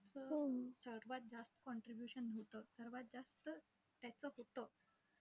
सर्वात जास्त contribution होतं. सर्वात जास्त त्याचं होतं.